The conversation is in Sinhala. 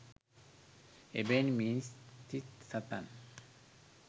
එබැවින් මිනිස් සිත් සතන්